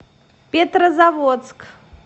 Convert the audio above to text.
петрозаводск